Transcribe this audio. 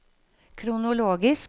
kronologisk